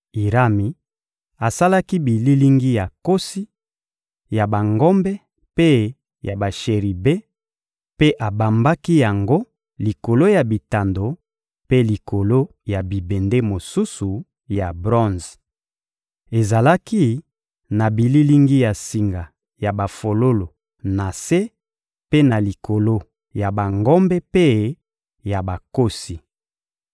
Irami asalaki bililingi ya nkosi, ya bangombe mpe ya basheribe, mpe abambaki yango likolo ya bitando mpe likolo ya bibende mosusu ya bronze. Ezalaki na bililingi ya singa ya bafololo na se mpe na likolo ya bangombe mpe ya bankosi.